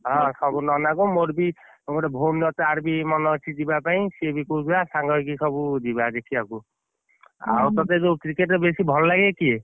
ଅ ହଁ ନନାକୁ ଆଉ ମୋର ବି ଗୋଟେ ଭଉଣୀ ଅଛି ତାର ବି ମନ ଅଛି ଯିବା ପାଇଁ ସେ ବି କହୁଥିଲା ସାଙ୍ଗ ହେଇ ସବୁ ଯିବା ଦେଖିବାକୁ, ଆଉ ତତେଯୋଉ cricket ରେ ବେଶି ଭଲ ଲାଗେ କିଏ?